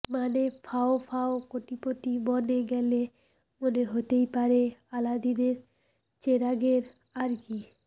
মানে ফাও ফাও কোটিপতি বনে গেলে মনে হতেই পারে আলাদিনের চেরাগের আর কি